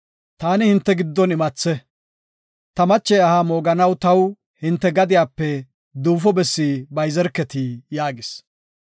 “Taani hinte giddon imathe; ta mache aha mooganaw taw hinte gadiyape duufo bessi bayzerketi” yaagis.